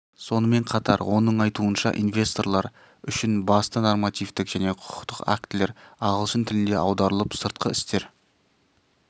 сонымен қатар оның айтуынша инвесторлар үшін басты нормативтік және құқықтық актілер ағылшын тіліне аударылып сыртқы істер